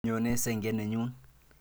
Nyone senge nenyon.